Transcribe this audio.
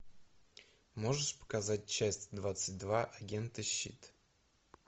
можешь показать часть двадцать два агенты щит